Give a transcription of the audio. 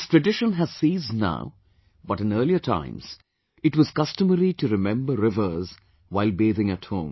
This tradition has ceased now...but in earlier times, it was customary to remember rivers while bathing at home